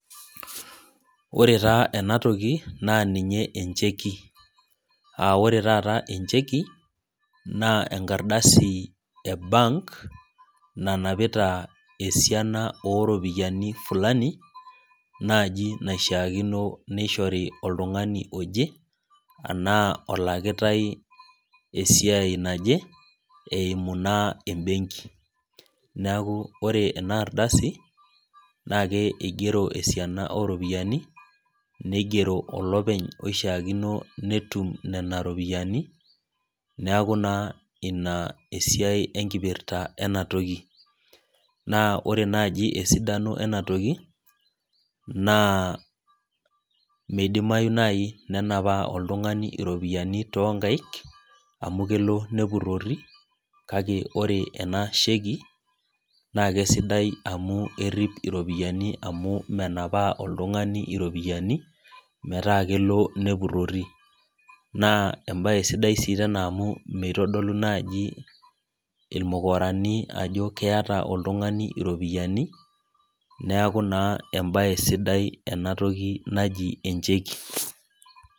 Ore taa ena toki naa ninye encheki, aa ore taata encheki, naa enkardasi e bank nanapita esiana o iropiani fulani, naaji naishaakino neishori oltung'ani oje, anaa elakitai eimu esiai naje embenki. Neaku ore ena ardasi, naake eigero esiana o iropiani neigero olopeny oishaakino netum nena ropiani, neaku naa ina esiai enkipirta ena toki. Naa ore naaji esidano ena toki, naa meidimayu naaji nenapaa oltung'ani iropiani toonkaik, amu kelo nepurori, kake ore ena sheki, naake sidai amu eripi iropiani amu menaoaa oltung'ani iropiani metaa kelo nepurori. Naa embaa sidai sii tena amu meitodolu naji ilmukorani ajo keat oltung'ani iropiani neaku naa embaye sidai enatoki naji encheki.